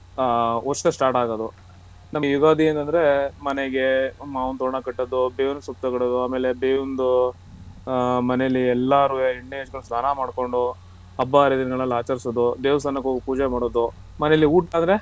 ಆ ಹೊಸ್ದಾಗ್ start ಆಗೋದು ನಮ್ಗೆ ಯುಗಾದಿ ಅಂತ ಅಂದ್ರೆ ಮನೆಗೆ ಮಾವಿನ ತೋರಣ ಕಟ್ಟೋದು ಬೇವಿನ ಸೊಪ್ಪು ತರೋದು ಅಮೇಲೆ ಬೇವಿಂದು ಆ ಮನೇಲಿ ಎಲ್ಲಾರುವೆ ಎಣ್ಣೇ ಹಚ್ಚ್ಕೊಂಡ್ ಸ್ನಾನ ಮಾಡ್ಕೊಂಡು ಹಬ್ಬ ಹರಿದಿನಗಳ ಆಚಾರ್ಸೋದು ದೇವಸ್ತಾನಕ್ ಹೋಗಿ ಪೂಜೆ ಮಾಡೋದು.